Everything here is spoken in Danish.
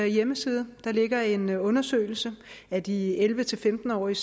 hjemmeside ligger en undersøgelse af de elleve til femten årige